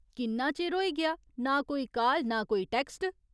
किन्ना चिर होई गेआ ना कोई काल, ना कोई टैक्स्ट ।